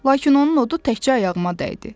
Lakin onun odu təkcə ayağıma dəydi.